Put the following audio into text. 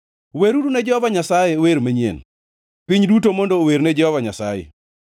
Weruru ne Jehova Nyasaye wer manyien; piny duto mondo ower ne Jehova Nyasaye.